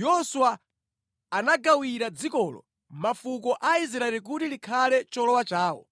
Yoswa anagawira dzikolo mafuko a Israeli kuti likhale cholowa chawo.